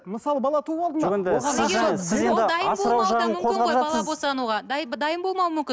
мысалы бала туып алды ма дайын болмауы да мүмкін